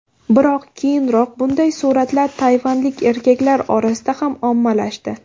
Biroq keyinroq bunday suratlar tayvanlik erkaklar orasida ham ommalashdi.